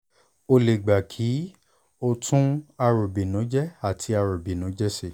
ó lè gba pé kí òun tún àròbìnújẹ́ àti àròbìnújẹ́ ṣe